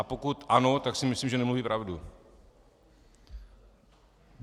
A pokud ano, tak si myslím, že nemluví pravdu.